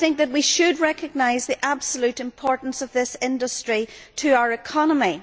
We should recognise the absolute importance of this industry to our economy.